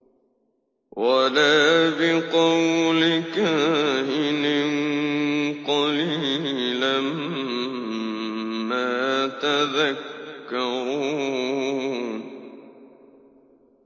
وَلَا بِقَوْلِ كَاهِنٍ ۚ قَلِيلًا مَّا تَذَكَّرُونَ